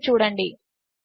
దానినిచూడండి